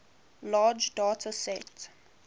large data sets